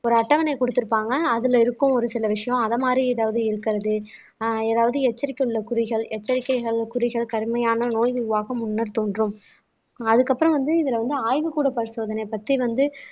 ஒரு அட்டவணை கொடுத்திருப்பாங்க அதுல இருக்கும் ஒரு சில விஷயம் அத மாதிரி ஏதாவது இருக்கிறது ஆஹ் ஏதாவது எச்சரிக்கை உள்ள குறிகள் எச்சரிக்கைகள் குறிகள் கடுமையான நோய் நிர்வாகம் முன்னர் தோன்றும் ஆஹ் அதுக்கப்புறம் வந்து இதுல வந்து ஆய்வுக்கூட பரிசோதனை பத்தி வந்து